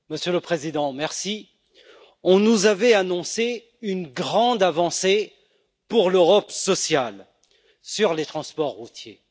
Monsieur le Président, on nous avait annoncé une grande avancée pour l'Europe sociale sur les transports routiers.